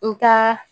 N ka